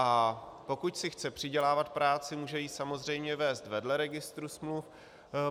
A pokud si chce přidělávat práci, může ji samozřejmě vést vedle Registru smluv.